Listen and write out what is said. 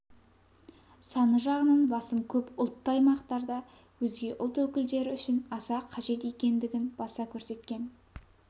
саны жағынан басым көп ұлтты аймақтарда өзге ұлт өкілдері үшін аса қажет екендігін баса көрсеткен